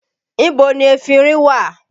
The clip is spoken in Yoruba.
Ibo ni efinrin wà?